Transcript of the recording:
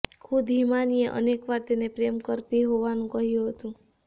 ખુદ હિમાનીએ અનેકવાર તેને પ્રેમ કરતી હોવાનું કહ્યું હતું